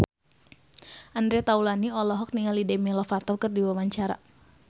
Andre Taulany olohok ningali Demi Lovato keur diwawancara